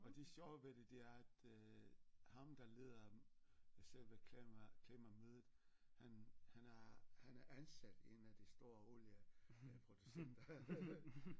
Og det sjove ved det det er at øh ham der leder selve klima klimamødet han han er han er ansat i en af de store olie øh producenter